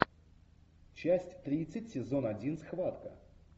часть тридцать сезон один схватка